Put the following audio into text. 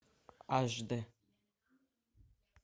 аш дэ